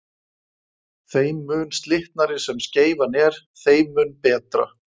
Þeim mun slitnari sem skeifan er þeim mun betra.